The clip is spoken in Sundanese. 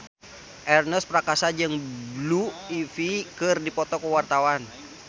Ernest Prakasa jeung Blue Ivy keur dipoto ku wartawan